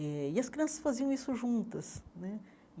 Eh e as crianças faziam isso juntas né.